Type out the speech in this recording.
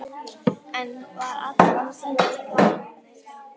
Það var allan tímann planið.